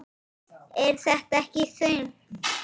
Er þetta ekki þungt?